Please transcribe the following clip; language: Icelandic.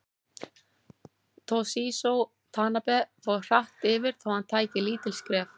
Toshizo Tanabe fór hratt yfir þó hann tæki lítil skref.